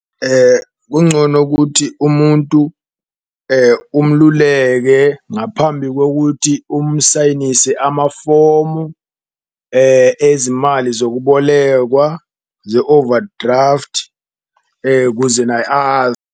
Kungcono kuthi umuntu umluleke ngaphambi kokuthi umsayinise amafomu ezimali zokubolekwa ze-overdraft kuze naye .